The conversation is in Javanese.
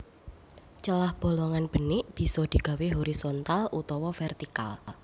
Celah bolongan benik bisa digawé horizontal utawa vertikal